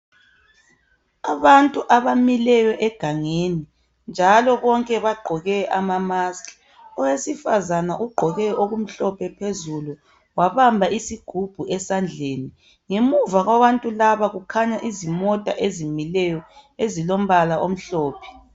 Abantu abamileyo egangeni, njalo bonke bagqoke ama -mask. Owesifazana ugqoke okumhlophe phezulu. Wabamba isigubhu esandleni. Ngemuva kwabantu laba, kukhanya imota ezimileyo, ezilombala omhlophe.